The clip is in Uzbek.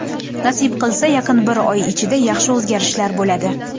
Nasib qilsa, yaqin bir oy ichida yaxshi o‘zgarishlar bo‘ladi.